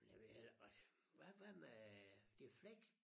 Jeg ved heller ikke hvad hvad hvad med det flex?